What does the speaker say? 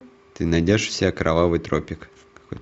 ты найдешь у себя кровавый тропик